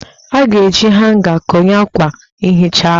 A ga-eji hanga konye akwa nhicha ahụ